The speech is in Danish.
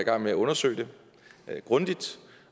i gang med at undersøge det grundigt